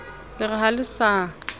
le re ha le sa